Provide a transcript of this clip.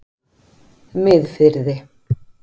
Miðfirði